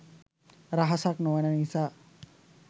රහසක් නෙවෙන නිසා.